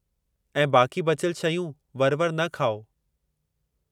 ऐं बाक़ी बचियल शयूं वर-वर न खाओ।